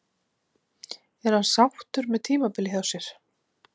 Er hann sáttur með tímabilið hjá sér?